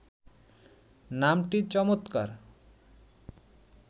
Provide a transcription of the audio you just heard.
নামটি চমৎকার